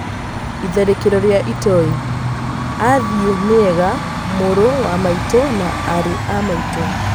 Itharĩkĩro rĩa itoi: 'Athii nĩega mũrũ wa maitũ na arĩ a maitũ'